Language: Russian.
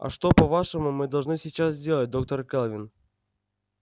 а что по-вашему мы должны сейчас сделать доктор кэлвин